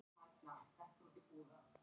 Klukkurnar voru efst í forkirkjunni.